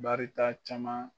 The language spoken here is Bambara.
Barita caman